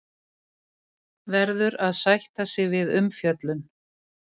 Verður að sætta sig við umfjöllun